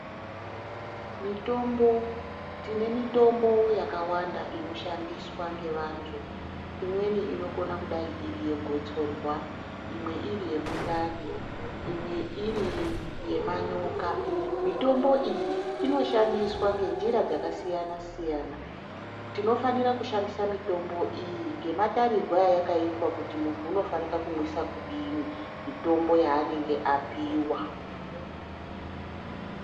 Mitombo tine mitombo yakawanda ino shandiswa nge vantu imweni inokona kudai iri ye gotsorwa imwe iri ye mundani imwe iri ye manyoka mitombo iyi inoshandiswa nge njira dzaka siyana siyana tino fanira kushandisa mitombo iyi nge matarirwe ayakaitwa kuti muntu unofanika kumwisa kudini mitombo yaanenge apiwa.